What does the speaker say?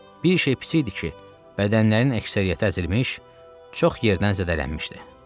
Bir şey pis idi ki, bədənlərin əksəriyyəti əzilmiş, çox yerdən zədələnmişdi.